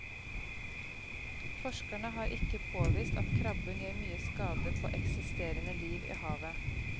Forskerne har ikke påvist at krabben gjør mye skade på eksisterende liv i havet.